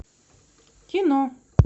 кино